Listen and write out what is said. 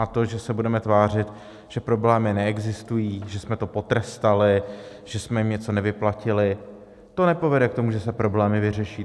A to, že se budeme tvářit, že problémy neexistují, že jsme to potrestali, že jsme jim něco nevyplatili, to nepovede k tomu, že se problémy vyřeší.